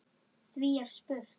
Því er spurt: